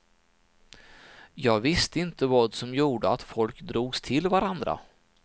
Jag visste inte vad som gjorde att folk drogs till varandra.